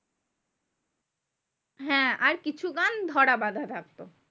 হ্যাঁ আর কিছু গান ধরাবাঁধা থাকতো।